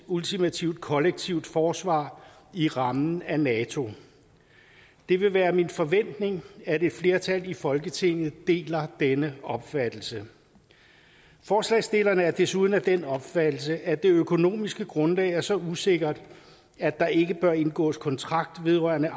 ultimativt kollektivt forsvar i rammen af nato det vil være min forventning at et flertal i folketinget deler denne opfattelse forslagsstillerne er desuden af den opfattelse at det økonomiske grundlag er så usikkert at der ikke bør indgås kontrakt vedrørende